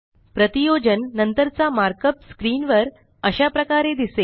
प्रतियोजन नंतरचा markup screen वर अशा प्रकारे दिसेल